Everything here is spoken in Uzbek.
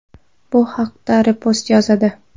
Bu haqda Repost yozadi .